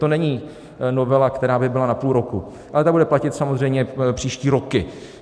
To není novela, která by byla na půl roku, ale ta bude platit samozřejmě příští roky.